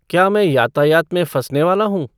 क्या मैं यातायात में फ़ँसने वाला हूँ